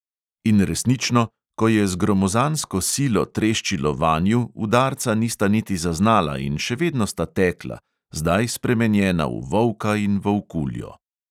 In resnično, ko je z gromozansko silo treščilo vanju, udarca nista niti zaznala in še vedno sta tekla, zdaj spremenjena v volka in volkuljo.